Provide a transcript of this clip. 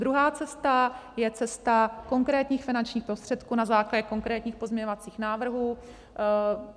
Druhá cesta je cesta konkrétních finančních prostředků na základě konkrétních pozměňovacích návrhů.